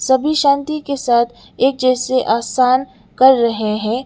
सभी शांति के साथ एक जैसे आसान कर रहे हैं।